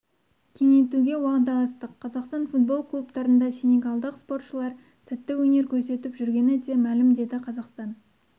кеңейтуге уағдаластық қазақстан футбол клубтарында сенегалдық спортшылар сәтті өнер көрсетіп жүргені де мәлім деді қазақстан